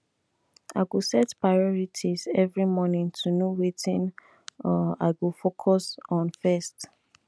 i go set priorities every morning to know wetin um i go focus on first